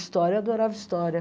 História, eu adorava história.